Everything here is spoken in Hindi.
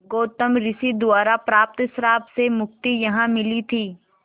गौतम ऋषि द्वारा प्राप्त श्राप से मुक्ति यहाँ मिली थी